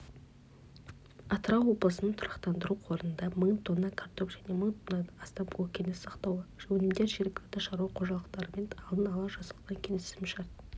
атырау облысының тұрақтандыру қорында мың тонна картоп және мың тоннадан астам көкөніс сақтаулы өнімдер жергілікті шаруа қожалықтарымен алдын ала жасалған келісімшарт